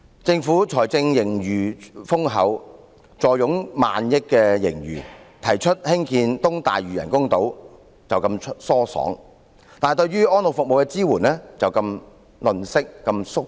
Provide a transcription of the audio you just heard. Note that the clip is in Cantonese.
政府財政盈餘豐厚，坐擁過萬億元的盈餘；它提出要興建東大嶼人工島時很疏爽，但對於安老服務的支援卻如此吝嗇和"縮骨"。